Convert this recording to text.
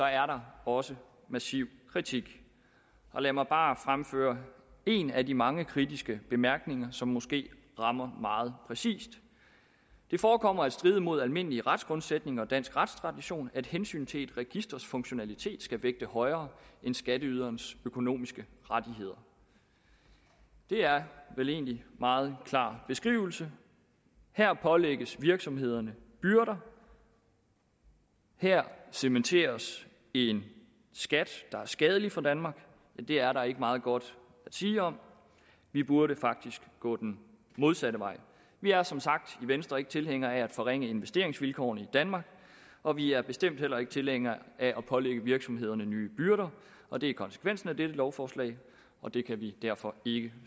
er der også massiv kritik lad mig bare fremføre en af de mange kritiske bemærkninger som måske rammer meget præcist det forekommer at stride mod almindelige retsgrundsætninger og dansk retstradition at hensyn til et registers funktionalitet skal vægte højere end skatteyderens økonomiske rettigheder det er vel egentlig en meget klar beskrivelse her pålægges virksomhederne byrder her cementeres en skat der er skadelig for danmark det er der ikke meget godt at sige om vi burde faktisk gå den modsatte vej vi er som sagt i venstre ikke tilhængere af at forringe investeringsvilkårene i danmark og vi er bestemt heller ikke tilhængere af at pålægge virksomhederne nye byrder og det er konsekvensen af dette lovforslag og det kan vi derfor ikke